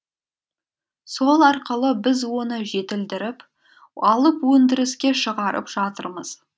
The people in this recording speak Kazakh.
сол арқылы біз оны жетілдіріп алып өндіріске шығарып жатырмыз